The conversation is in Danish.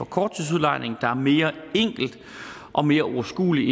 korttidsudlejning der er mere enkel og mere overskuelig